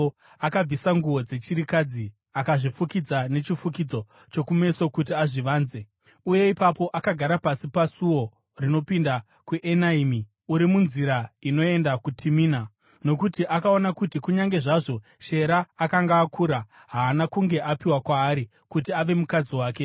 akabvisa nguo dzechirikadzi, akazvifukidza nechifukidzo chokumeso kuti azvivanze, uye ipapo akagara pasi pasuo rinopinda kuEnaimi, uri munzira inoenda kuTimina. Nokuti akaona kuti kunyange zvazvo Shera akanga akura, haana kunge apiwa kwaari kuti ave mukadzi wake.